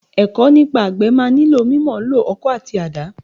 Ẹ̀kọ́ nípa àgbẹ̀ máa nílò mímọ̀ǹlò ọkọ́ àti àdá.